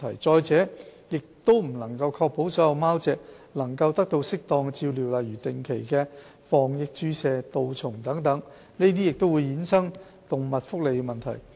再者，亦不能確保所有貓隻都能得到適當的照料，例如定期的防疫注射及杜蟲等，這更會衍生動物福利等問題。